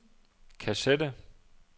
kassette